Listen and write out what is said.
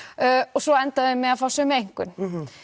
og svo enda þau með að fá sömu einkunn